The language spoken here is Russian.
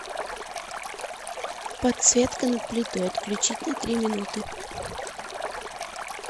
подсветка над плитой отключить на три минуты